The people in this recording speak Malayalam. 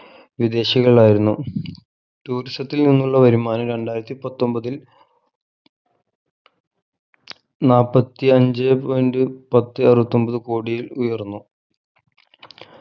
വിദേശികളായിരുന്നു tourism ത്തിൽ നിന്നുള്ള വരുമാനം രണ്ടായിരത്തി പത്തൊമ്പതിൽ നാൽപത്തി അഞ്ചേ point പത്തേ അറുവത്തൊമ്പത് കോടിയിൽ ഉയർന്നു